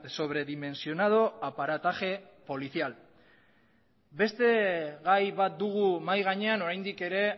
sobredimensionado aparataje policial beste gai bat dugu mahai gainean oraindik ere